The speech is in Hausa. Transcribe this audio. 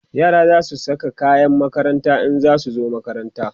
yara zasu Saka kayan makaranta in zasu zo makaranta